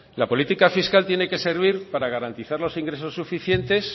la política fiscal tiene que servir para garantizar los ingresos suficiente